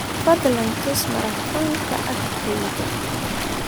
fadlan tus maratoonka agteyda